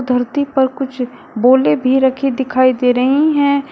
धरती पर कुछ बोले भी रखी दिखाई दे रही हैं।